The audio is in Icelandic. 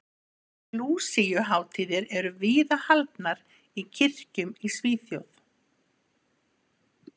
Lúsíuhátíðir eru víða haldnar í kirkjum í Svíþjóð.